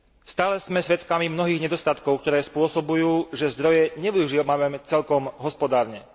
Stále sme svedkami mnohých nedostatkov, ktoré spôsobujú, že zdroje nevyužívame celkom hospodárne.